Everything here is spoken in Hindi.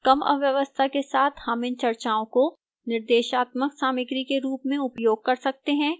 कम अव्यवस्था के साथ हम इन चर्चाओं को निर्देशात्मक सामग्री के रूप में उपयोग कर सकते हैं